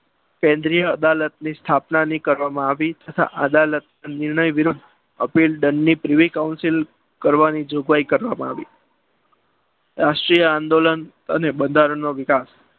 કેન્દ્રીય અદાલતની સ્થાપના કરવામાં આવી તથા અદાલતની વિરુદ્ધ appeal દંડ ની પ્રીવી council કરવાની જોગવાઈ કરવામાં આવી રાષ્ટ્રીય આંદોલન અને બંધારણ નો વિકાસ